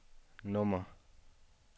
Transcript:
nummer